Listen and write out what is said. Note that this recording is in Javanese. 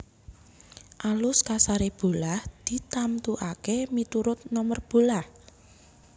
Alus kasaré bolah ditamtukaké miturut nomer bolah